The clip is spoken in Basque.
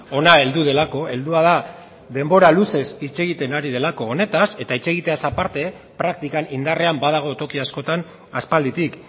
hona heldu delako heldua da denbora luzez hitz egiten ari delako honetaz eta hitz egiteaz aparte praktikan indarrean badago toki askotan aspalditik